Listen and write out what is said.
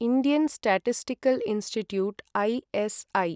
Indian statistical institute ISI